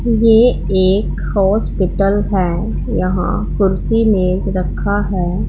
ये एक हॉस्पिटल है यहां कुर्सी मेज रखा है।